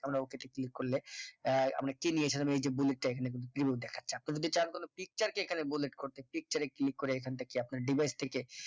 আমরা okay তে click করলে আহ bullet টা এইখানে zero দেখাচ্ছে আপনি যদি চান তাহলে picture কে এখানে bullet করতে picture এ click করে থেকে আপনার device থেকে